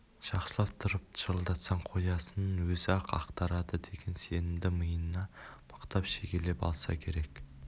жақсылап тұрып шырылдатсаң қоясын өзі-ақ ақтарады деген сенімді миына мықтап шегелеп алса керек